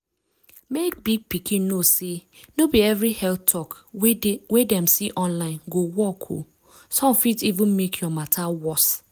mek big pikin know say no be every health talk wey dem see online go work o some fit even make your matter worse.